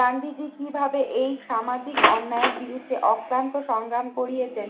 গান্ধীজি কিভাবে এই সামাজিক অন্যায়ের বিরুদ্ধে অক্লান্ত সংগ্রাম করিয়েছেন